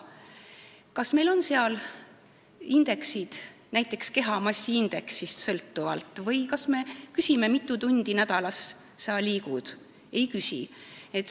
Kas raviteenus sõltub näiteks kehamassiindeksist või kas me küsime, mitu tundi nädalas sa liigud?